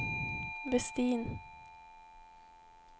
Westin